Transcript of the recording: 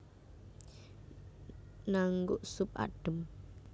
Naengguk sup adhem